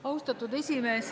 Austatud esimees!